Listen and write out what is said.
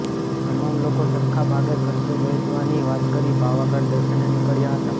તમામ લોકો સરખા ભાગે ખર્ચો વહેંચવાની વાત કરી પાવાગઢ દર્શને નીકળ્યા હતા